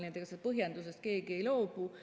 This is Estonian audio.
Nii et ega põhjendusest keegi ei loobu.